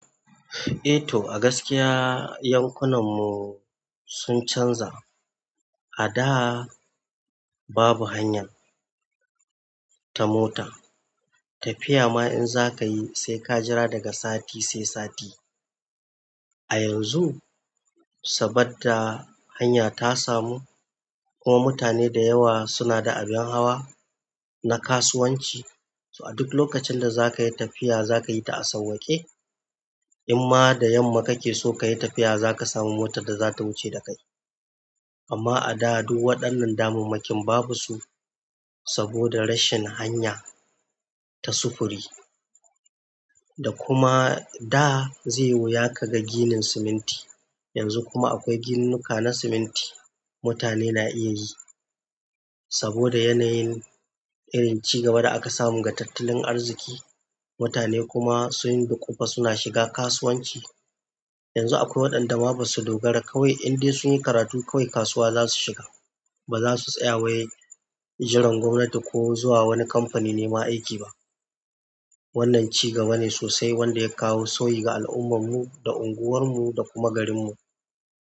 Eh to, a gaskiya yankunan mu sun canza. A da babu hanyar ta mota, tafiya ma in za ka yi sai ka jira daga sati sai sati. A yanzu saboda hanya ta samu kuma mutane da yawa suna da abin hawa na kasuwanci, so a duk lokacin da za ka yi tafiya za ka yi ta a sauƙaƙe. In ma da yamma ka ke so ka yi tafiya za ka samu motar da za ta wuce da kai. Amma a da duk waɗannan damammakin babu su saboda rashin hanya ta sufuri. Da kuma da zai wuya ka ga ginin siminti, yanzu kuma akwai ginnuka na siminti mutane na iya yi. Saboda yanayin irin ci gaba da aka samu ga tattalin arziƙi mutane kuma sun duƙufa suna shiga kasuwanci. Yanzu akwai waɗanda ma basu dogara kawai in dai sun yi karatu kawai kasuwa za su shiga. Ba za su tsaya wai jiran gwamnati ko zuwa wani kamfani nema aiki ba. Wannan ci gaba ne sosai wanda ya kawo sauyi ga al'ummar mu, da unguwar mu da kuma garin mu.